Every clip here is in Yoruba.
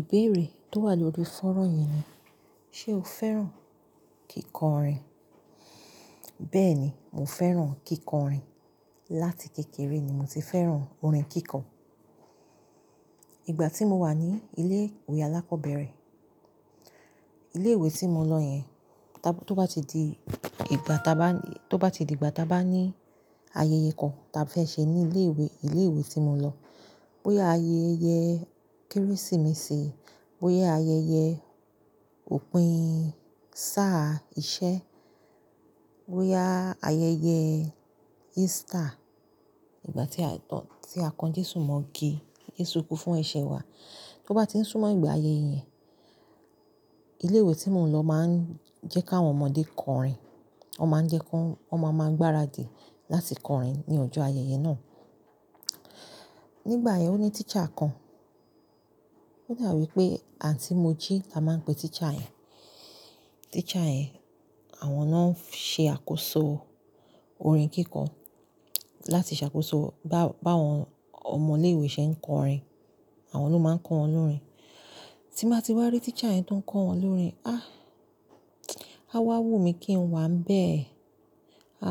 Ìbéèrè tó wà lórí fónrán yìí ni, ṣe o fẹ́ràn kíkọrin? Bẹ́ẹ̀ni, mo fẹ́ràn kíkọrin. Láti kékeré ni mo ti fẹ́ràn orin kíkọ. Ìgbà tí mo wà ní ilé ìwé alákọ̀ọ́bẹ̀rẹ̀, ilé ìwé tí mo lọ yẹn, to bá ti di ìgbà ta bá ní ayẹyẹ kan ta fẹ́ ṣe ní ilé ìwé, ilé ìwé tí mo lọ. Bóyá ayẹyẹ kérésìmesì, bóyá ayẹyẹ òpin sáà ọ̀sẹ̀, bóyá ayẹyẹ easter, ìgbà tí a kan Jésù mọ́ igi tí Jésù kú fún ẹ̀ṣẹ̀ wa. Tó bá ti ń súnmọ́ ìgbà ayẹyẹ yẹn, ilé ìwé tí mò ń lọ máa ń jẹ́ káwọn ọmọdé kọrin, wọ́n máa ń jẹ́ kó, wọ́n máa ń gbáradì láti kọrin ní ọjọ́ ayẹyẹ náà. Nígbà yẹn ó ní teacher kan, ó dàbí pé Àǹtí Moji la máa ń pe teacher yẹn. Teacher yẹn àwọn náà ń ṣe àkóso orin kíkọ láti ṣàkóso bá, bá àwọn ọmọ ilé ìwé ṣe ń kọrin, àwọn ló máa ń kọ wọ́n lórin. Tí mo bá ti wá rí teacher yẹn tó ń kọ wọ́n lórin, ah! A wá wù mí kí n wà bẹ́ẹ̀,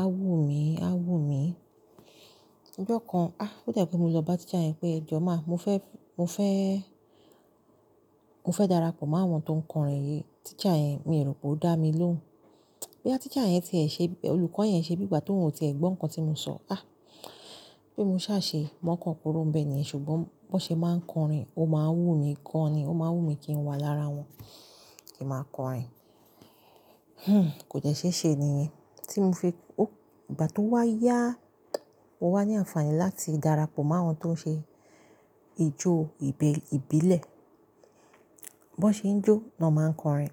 a wù mí, a wù mí. Ọjọ́ kan, ah! Ó dà pé mo lọ bá teacher yẹn pé, "Ejọ má, mo fẹ́, mo fẹ́, mo fẹ́ darapọ̀ mó àwọn tó ń kọrin yìí." Teacher yẹn, mi rò pé ó dá mi lóhùn. Bóyá teacher yẹn ṣe, olùkọ́ yẹn ṣe bígbà tóun ò tì ẹ gbọ́ nǹkan tí mo ṣọ. Ah! Bí mo ṣá ṣe, mú ọkàn kúrò bẹ́ẹ̀ nìyẹn, ṣùgbọ́n bó ṣe máa ń kọrin, ó máa ń wù mí gan ni, ó máa ń wù mí kí n wà lára wọn kí a máa kọrin. Hmm! Kò dẹ́ ṣéṣé ni yẹn tí mo fi-- ìgbà tó wá yá, mo wá ní àǹfààní láti darapọ̀ mó àwọn tó ń ṣe ijó ìbílẹ̀. Bó ṣe ń jó ni wọ́n máa ń kọrin.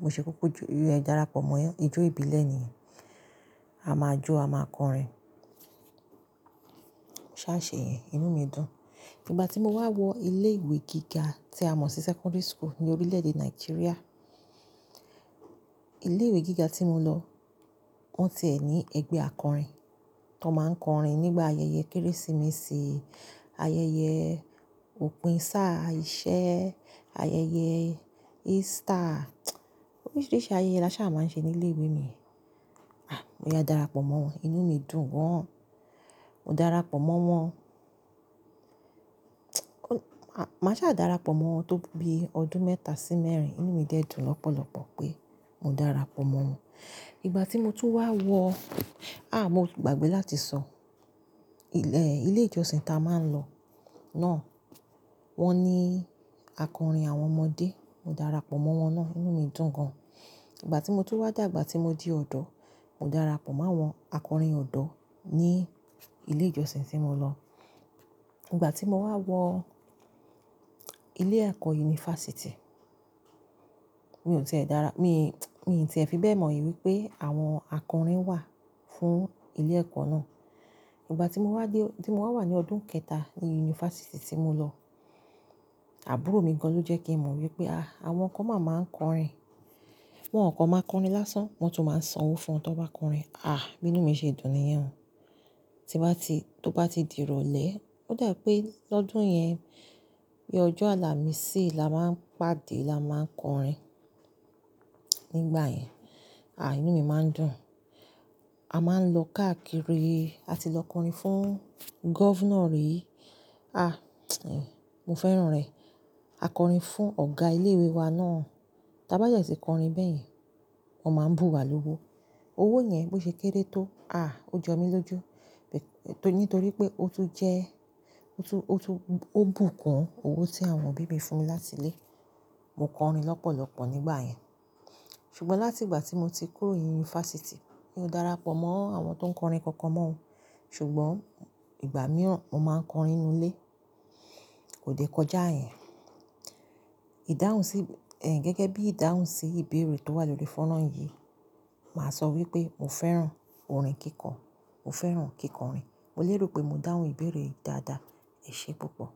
Mo ṣe kúkú jó, darapọ̀ mọ́ wọn. Ijó ìbílẹ̀ ni, a máa jó, a máa kọrin. Mo ṣá ṣe yẹn, inú mi dùn. Ìgbà tí mo wá wọ ilé ìwé gíga tí a mọ̀ sí secondary school ní orílẹ̀-èdè Nàìjíríà. Ilé ìwé gíga tí mo lọ, wọ́n tí ẹẹ ní ẹgbẹ́ akọrin tí wọ́n máa ń kọrin nígbà ayẹyẹ kérésìmesì, ayẹyẹ òpin sáà iṣẹ́, ayẹyẹ easter oríṣiríṣi ayẹyẹ la ṣá máa ń ṣe ní ilé ìwé mi nígbàyẹn. Ah! Mo ya dára pọ̀ mọ́ wọn, inú mi dùn gan. Mo dára pọ̀ mọ́ wọn. Màá ṣá dára pọ̀ mọ́ wọn tó bí ọdún mẹ́ta sí mẹ́rin. Inú mi dẹ dùn lọ́pọ̀lọ́pọ̀ pé mo dára pọ̀ mọ́ wọn. Ìgbà tí mo tún wá wọ, ah! Mo gbàgbé láti sọ, ilé ìjọsìn tá a máa ń lọ náà, wọ́n ní akọrin àwọn ọmọdé, mo dára pọ̀ mọ́ wọn náà, inú mi dùn gan. Ìgbà tí mo tún wá dàgbà tí mo di ọ̀dọ́, mo dára pọ̀ mọ́ àwọn akọrin ọ̀dọ́ ní ilé ìjọsìn tí mo lọ. Ìgbà tí mo wá wọ ilé ẹ̀kọ́ yunifásítì, mi ò tì ẹ dára, mi, mi ti ẹ fi bẹ́ẹ̀ mọ̀ wípé àwọn akọrin wà fún ilé ẹ̀kọ́ náà. Ìgbà tí mo wá dé, tí mo wá wà ní ọdún kẹta ní yunifásítì tí mo lọ, àbúrò mi gan ló jẹ́ kí mo mọ̀ wípé, ah! Àwọn kan ma máa ń kọrin. Wọn kàn máa ń kọrin lásán, wọ́n tún máa ń sanwó fún wọn tí wọ́n bá kọrin. Ah! Bí inú mi ṣe dùn nìyẹn. Tí bá ti, tó bá ti di ìrọ̀lẹ́, ó dà pé lọ́dún yẹn bí ọjọ́ àlàmísì la máa ń pàdé la máa ń kọrin nígbà yẹn. Ah! Inú mi máa ń dùn. A máa ń lọ káàkiri, a ti lọ kọrin fún governor rí. Ah! Mo fẹ́ràn rẹ̀. A kọrin fún ọ̀gá ilé ìwé wa náà. Tábá dé tí kọrin bẹ́ẹ̀ yẹn, wọ́n máa ń bu wa lówó. Owó yẹn bó ṣe kéré tó, ah! Ó jọ mí lójú. Nítorí pé ó tún jẹ́, ó tún, ó tún, ó bù kún owó tí àwọn òbí mi fún mi láti ilé. Mo kọrin lọ́pọ̀lọ́pọ̀ nígbà yẹn. Ṣùgbọ́n láti ìgbà tí mo ti kúrò yunifásítì, mi ò dára pọ̀ mọ́ àwọn tó ń kọrin kankan mọ́. Ṣùgbọ́n ìgbà mìíràn, mo máa ń kọrin nínú ilé. Kò dé kọjá yẹn. Ìdáhùn sí, gẹ́gẹ́ bí ìdáhùn sí ìbéèrè tó wà lórí fónrán yìí, màá sọ wípé mo fẹ́ràn orin kíkọ, mo fẹ́ràn kíkọrin. Mo lè rò pé mo dáhùn ìbéèrè dáadáa. Ẹ ṣé púpọ̀.